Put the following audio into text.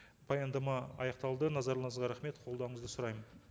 баяндама аяқталды назарларыңызға рахмет қолдауыңызды сұраймын